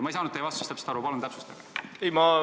Ma ei saanud teie vastusest aru, palun täpsustage!